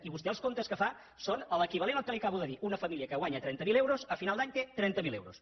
i vostè els comptes que fa són l’equivalent al que li acabo de dir una família que guanya trenta mil euros a final d’any té trenta mil euros